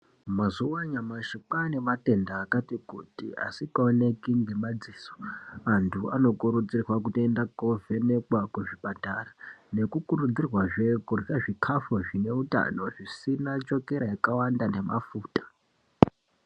Mazuwa anyamashi kwaa nematenda akati kuti asikaoneki ngemadziso. Antu anokurudzirwa kutoenda kovhenekwa kuzvipatara, nekukurudzirwazve kurya zvikafu zvine utano zvisina chokera yakawanda nemafuta.